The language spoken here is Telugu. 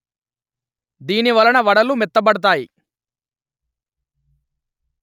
దీనివలన వడలు మెత్తబడతాయి